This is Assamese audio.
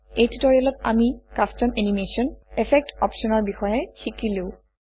এই টিউটৰিয়েলত আমি কাষ্টম এনিমেচন এফেক্ট অপশ্যনৰ বিষয়ে শিকিলো